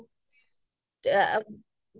হয় হয় হয়